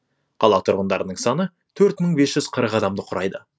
қала тұрғындарының саны төрт мың бес жүз қырық адамды құрайды